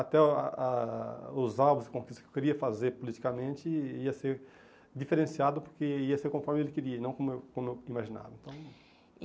Até o a os alvos e conquistas que eu queria fazer politicamente ia ser diferenciado porque ia ser conforme ele queria e não como eu como eu imaginava. Então